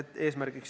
Aitäh!